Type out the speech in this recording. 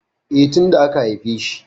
E, tin da aka haifeshi.